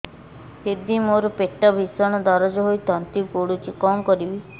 ଦିଦି ମୋର ପେଟ ଭୀଷଣ ଦରଜ ହୋଇ ତଣ୍ଟି ପୋଡୁଛି କଣ କରିବି